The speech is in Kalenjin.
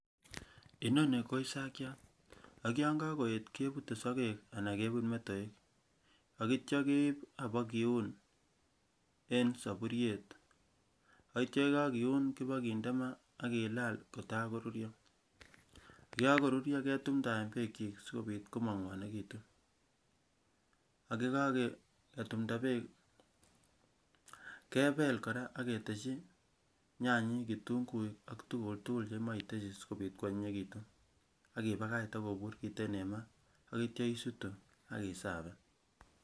Inoni ko isakiat ak yon kokoet kebute sokek anan kebut metoek akitio keib ibokiun en saburiet akitio yekokiun kipokinde ma akilal kotakorurio yekokorurio ketumndaen beekyi sikopit komangwonekitu ak yekaketumnda beek kebel kora aketeshi nyanyik, kitunguik ak tukuk tugul chemoiteshi sikopit kwonyinyekitu akipakach itokobur kiten en ma akitia isutu akisafen.